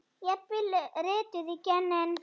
Jafnvel rituð í genin?